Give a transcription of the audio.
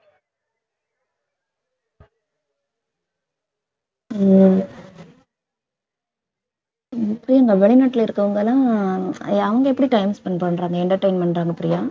உம் உம் பிரியங்கா வெளிநாட்டுல இருக்கவங்க எல்லாம் அவங்க எப்படி time spend பண்றாங்க entertainment பண்றாங்க பிரியா